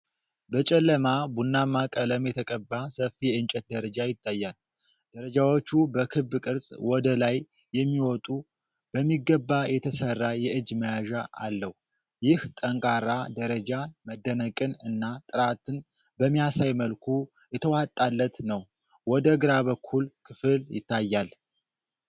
በጨለማ ቡናማ ቀለም የተቀባ ሰፊ የእንጨት ደረጃ ይታያል። ደረጃዎቹ በክብ ቅርጽ ወደ ላይ የሚወጡ፣ በሚገባ የተሰራ የእጅ መያዣ አለው። ይህ ጠንካራ ደረጃ መደነቅን እና ጥራትን በሚያሳይ መልኩ የተዋጣለት ነው። ወደ ግራ በኩል ክፍል ይታያል።